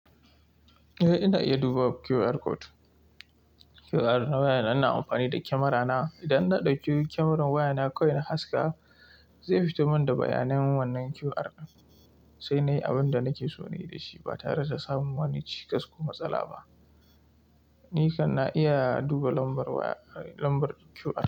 Eh, ina iya duba QR code. QR na wayana ina amfani da camera na. Idan na ɗauki kyamarar wayana kawai na haska, zai fito min da bayanan wannan QR din, sai na yi abin da nake so na yi da shi ba tare da samun wani cikas ko matsala ba. Ni kan na iya duba lambar waya lambar QR.